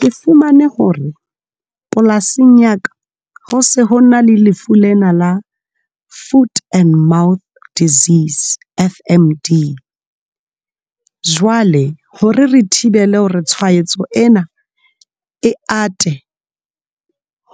Ke fumane hore polasing ya ka, ho se ho na le lefu lena la Food and Mouth Disease F_M_D jwale hore re thibele hore tshwaetso ena e ate